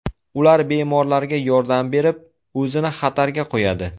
Ular bemorlarga yordam berib, o‘zini xatarga qo‘yadi.